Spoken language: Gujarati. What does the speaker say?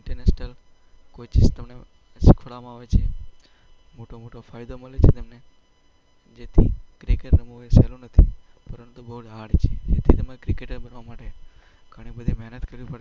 ઈન્ટરનેશનલ કોઈ સિસ્ટમને રજૂ કરવામાં આવે છે. મોટો મોટો ફાયદો મળે છે તમને જેથી ક્રિકેટ રમવું એ સહેલું નથી પરંતુ બહુ હાર્ડ છે. તેથી તમે ક્રિકેટર બનવા માટે ઘણી બધી મહેનત